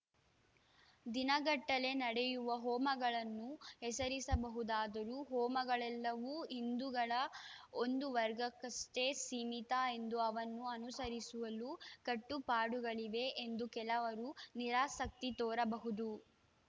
ದಿನಗಟ್ಟಲೆ ನಡೆಯುವ ಹೋಮಗಳನ್ನು ಹೆಸರಿಸಬಹುದಾದರೂ ಹೋಮಗಳೆಲ್ಲವೂ ಹಿಂದೂಗಳ ಒಂದು ವರ್ಗಕ್ಕಷ್ಟೇ ಸೀಮಿತ ಎಂದು ಅವನ್ನು ಅನುಸರಿಸುಲು ಕಟ್ಟು ಪಾಡುಗಳಿವೆ ಎಂದು ಕೆಲವರು ನಿರಾಸಕ್ತಿ ತೋರಬಹುದು